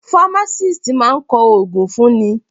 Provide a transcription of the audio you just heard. Pharmacist máa kọ ògùn fún ni.